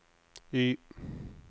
Y